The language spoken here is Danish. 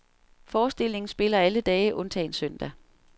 Forestillingen spiller alle dage undtagen søndag.